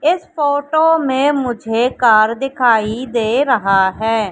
इस फोटो मे मुझे कार दिखाई दे रहा है।